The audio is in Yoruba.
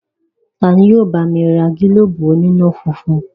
Tani yóò bá mi ra gílóbù oníná-funfun?